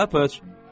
Pataç!